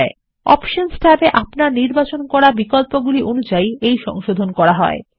এই সংশোধণ অপশনস ট্যাবে আপনার নির্বাচন করা বিকল্পগুলি অনুযায়ী করা হয়